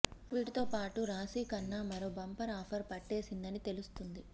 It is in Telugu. వీటితో పాటు రాశి ఖన్నా మరో బంపర్ ఆఫర్ పట్టేసిందని తెలుస్తుంది